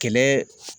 Kɛlɛ